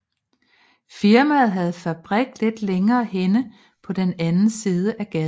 Firmaet havde fabrik lidt længere henne på den anden side af gaden